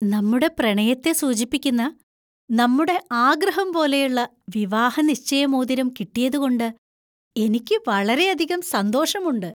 നമ്മുടെ പ്രണയത്തെ സൂചിപ്പിക്കുന്ന, നമ്മുടെ ആഗ്രഹം പോലെയുള്ള വിവാഹനിശ്ചയ മോതിരം കിട്ടിയതുകൊണ്ട് എനിക്ക് വളരെയധികം സന്തോഷമുണ്ട്.